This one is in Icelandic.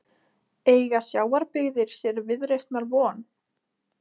Eiga sjávarbyggðir sér viðreisnar von?